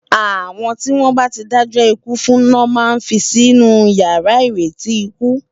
Awòn tiwòn bá ti dájò ikú fún lo má n fi sinú iyàrá iréti ikú